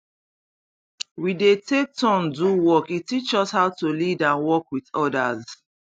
we dey take turn do work e teach us how to lead and work with others